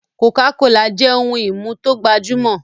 cocacola jẹ ohùn imú to gbajumọ.